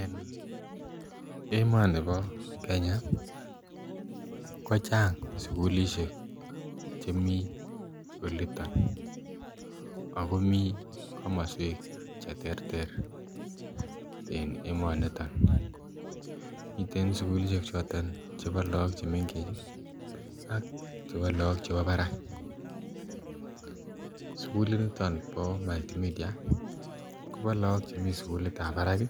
En emoni bo Kenya ko chang sukulshek chemii oliton ak komii komoswek cheterter en emoniton, miten sukulishek choton chebo look chemengech ak chebo look chebo barak, sukuliniton bo Multimedia kobo look chemii sukulitab barak